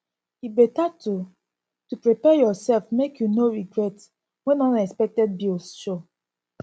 e better to to prepare yoursef make you no regret when unexpected bills show